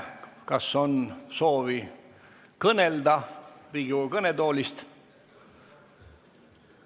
Kas on kellelgi soovi kõnelda Riigikogu kõnetoolist?